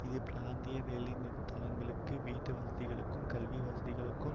இது பிராந்திய வேலைத்தலங்களுக்கு வீட்டுவசதிகளுக்கும் கல்விவசதிகளுக்கும்